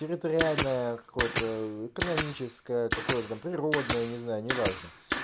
территориальная какой-то экономическое какое-то там природное не знаю неважно